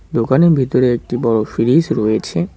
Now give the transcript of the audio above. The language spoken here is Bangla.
দোকানের ভিতরে একটা বড় ফ্রিজ রয়েছে।